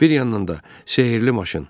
Bir yandan da sehrli maşın.